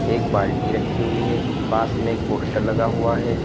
एक बाल्टी रखी हुई है पास में एक पोस्टर लगा हुआ है।